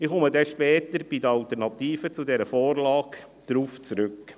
Ich komme dann später bei den Alternativen zu dieser Vorlage darauf zurück.